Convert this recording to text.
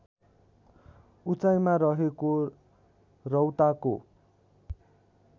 उचाइमा रहेको रौताको